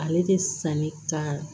Ale tɛ sanni ka